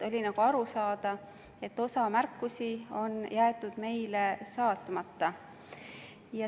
Oli nagu aru saada, et osa märkusi on jäetud meile saatmata.